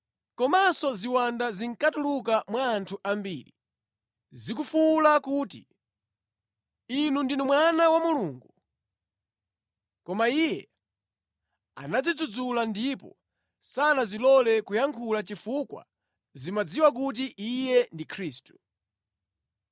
Komanso ziwanda zinkatuluka mwa anthu ambiri, zikufuwula kuti, “Inu ndinu Mwana wa Mulungu!” Koma Iye anazidzudzula ndipo sanazilole kuyankhula chifukwa zimadziwa kuti Iye ndi Khristu.